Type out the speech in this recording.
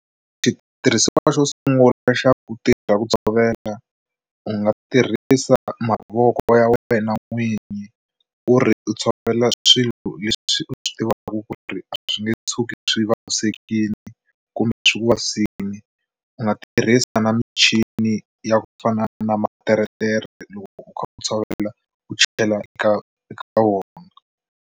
Xitirhisiwa xo sungula xa ku tirha ku tshovela u nga tirhisa mavoko ya wena n'winyi ku ri u tshovela swilo leswi u swi tivaku ku ri swi nge tshuki swi vavisekile kumbe swi ku vavisini, u nga tirhisa na michini ya ku fana na materetere loko u kha u tshovela u chela eka eka wona.